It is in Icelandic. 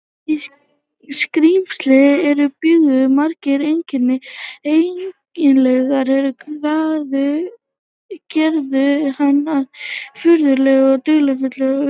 Í skrímsli þessu bjuggu margir einkennilegir eiginleikar, er gerðu hann að furðulegri og dularfullri veru.